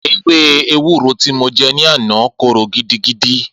Ewé ewúro tí mo jẹ ní àná korò gidigidi